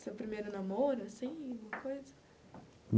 Seu primeiro namoro, assim, alguma coisa?